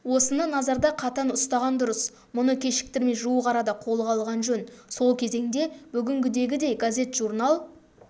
осыны назарда қатаң ұстаған дұрыс мұны кешіктірмей жуық арада қолға алған жөн сол кезеңде бүгінгідегідей газет-журнал